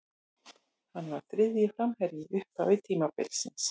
Hann var þriðji framherji í upphafi tímabilsins.